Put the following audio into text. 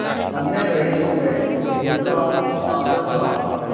अन्य रईसों में उनका आदर था